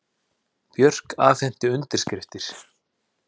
Björk afhenti undirskriftir